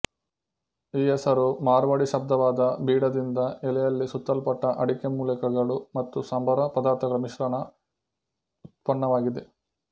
ಈ ಹೆಸರು ಮಾರ್ವಾಡಿ ಶಬ್ದವಾದ ಬೀಡಾದಿಂದ ಎಲೆಯಲ್ಲಿ ಸುತ್ತಲ್ಪಟ್ಟ ಅಡಿಕೆ ಮೂಲಿಕೆಗಳು ಮತ್ತು ಸಂಬಾರ ಪದಾರ್ಥಗಳ ಮಿಶ್ರಣ ವ್ಯುತ್ಪನ್ನವಾಗಿದೆ